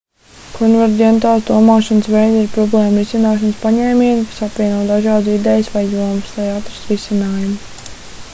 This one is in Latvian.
konverģentās domāšanas veidi ir problēmu risināšanas paņēmieni kas apvieno dažādas idejas vai jomas lai atrastu risinājumu